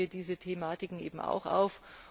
Da greifen wir diese Thematiken eben auch auf.